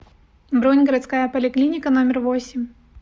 бронь городская поликлиника номер восемь